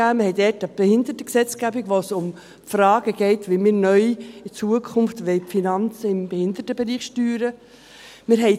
Wir haben da eine Behindertengesetzgebung, bei der es um die Fragen geht, wie wir in Zukunft die Finanzen im Behindertenbereich neu steuern wollen.